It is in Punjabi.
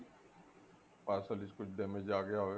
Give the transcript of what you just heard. parcel ਵਿੱਚ ਕੁੱਝ damage ਆ ਗਿਆ ਹੋਵੇ